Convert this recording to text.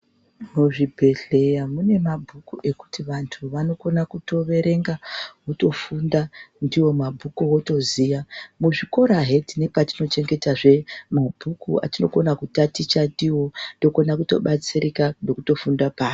Muzvibhedhlera mune mabhuku ekuti vantu vanokona kutoverenga votofunda ndiwo mabhuku votoziya , muzvikora hee tine patinochengetazve mabhuku atinokona kutaticha ndiwo tokona kutobatsirika nekutofunda paari.